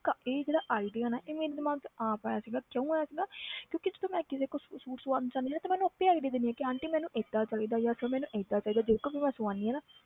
ਕ~ ਇਹ ਜਿਹੜਾ idea ਨਾ ਇਹ ਮੇਰੇ ਦਿਮਾਗ 'ਚ ਆਪ ਆਇਆ ਸੀਗਾ ਕਿਉਂ ਆਇਆ ਸੀਗਾ ਕਿਉਂਕਿ ਜਦੋਂ ਮੈਂ ਕਿਸੇ ਕੋਲ ਸੂ~ suit ਸਿਵਾਉਣ ਜਾਂਦੀ ਸੀ ਨਾ ਤੇ ਮੈਂ ਉਹਨੂੰ ਆਪੇ idea ਦਿੰਦੀ ਹਾਂ ਕਿ ਆਂਟੀ ਮੈਨੂੰ ਏਦਾਂ ਚਾਹੀਦਾ ਜਾਂ ਫਿਰ ਮੈਨੂੰ ਏਦਾਂ ਚਾਹੀਦਾ ਜਿਹਦੇ ਕੋਲੋਂ ਵੀ ਮੈਂ ਸਵਾਉਂਦੀ ਹਾਂ ਨਾ